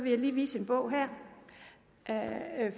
jeg lige vise en bog her